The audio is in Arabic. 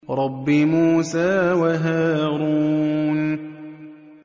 رَبِّ مُوسَىٰ وَهَارُونَ